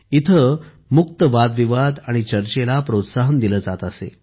येथे मुक्त वादविवाद आणि चर्चेला प्रोत्साहन दिले जात असे